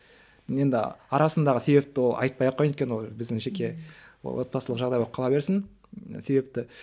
енді арасындағы себепті ол айтпай ақ қояйын өйткені ол біздің жеке отбасылық жағдай болып қала берсін себепті